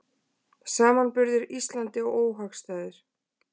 Samanburður Íslandi óhagstæður